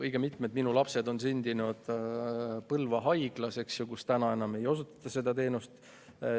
Õige mitu minu last on sündinud Põlva Haiglas, kus enam seda teenust ei osutata.